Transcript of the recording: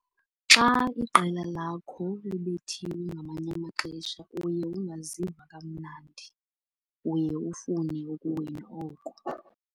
Xa iqela lakho libethiwe ngamanye amaxesha uye ungaziva kamnandi, uye ufune ukuwina oko.